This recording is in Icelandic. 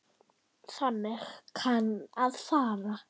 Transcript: Þannig kann að fara.